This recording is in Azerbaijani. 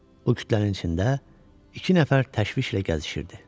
O kütlənin içində iki nəfər təşvişlə gəzişirdi.